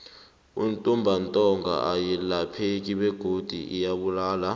intumbantonga ayilapheki begodu iyabulala